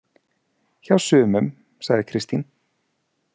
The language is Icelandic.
Hjá sumum, sagði Kristín.